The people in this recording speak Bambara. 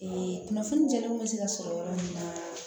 kunnafoni jalen bɛ se ka sɔrɔ yɔrɔ min na